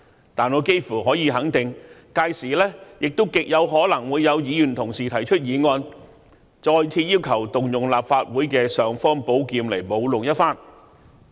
然而，我幾乎可以肯定，屆時亦極可能會有議員同事提出議案，再次要求動用立法會的"尚方寶劍"來舞弄一番。